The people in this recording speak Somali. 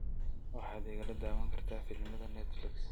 waxaad igala daawan kartaa filimada netflix